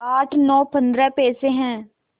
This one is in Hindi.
आठ नौ पंद्रह पैसे हैं